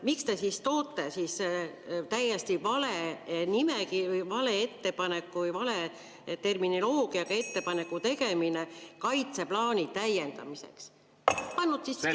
Miks te siis toote siia täiesti vale nimekirja või vale ettepaneku või vale terminoloogia, "Ettepaneku tegemine kaitseplaani täiendamiseks"?